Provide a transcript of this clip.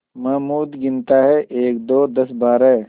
महमूद गिनता है एकदो दसबारह